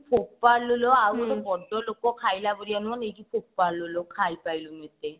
ଫୋପାଡିଲୋ ଆଉ ଟେ ବଡଲୋକ ଖାଇଲା ପରିକା ନୁହଁ ନେଇକି ଫୋପଡିଲି ଖାଇ ପାଇଲୁନି ଏତେ